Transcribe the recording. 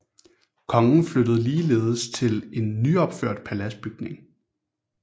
Kongen flyttede ligeledes til en nyopført paladsbygning